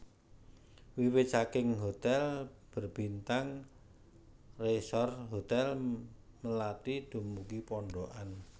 Wiwit saking hotel berbintang resor hotel melati dumugi pondokan